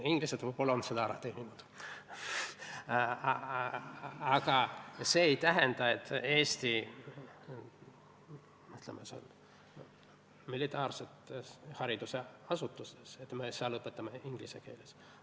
Inglased on selle võib-olla ära teeninud, aga see ei tähenda, et me Eesti militaarsetes haridusasutustes õpetame inglise keeles.